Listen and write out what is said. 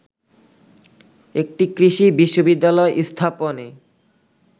একটি কৃষি বিশ্ববিদ্যালয় স্থাপনে